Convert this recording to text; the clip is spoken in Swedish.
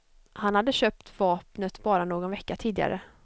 Han hade köpt vapnet bara någon vecka tidigare.